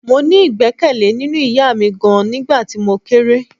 Mo ní igbekele nínú ìyá mi gan-an nígbà tí mo kéré.